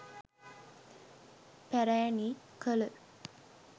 පැරැණි කළ